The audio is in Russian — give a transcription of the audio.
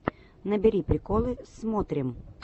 набери приколы смотрим